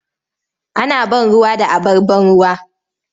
Ana ban ruwa da abar ban ruwa.